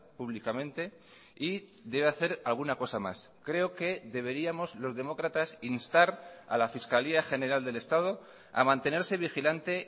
públicamente y debe hacer alguna cosa más creo que deberíamos los demócratas instar a la fiscalía general del estado a mantenerse vigilante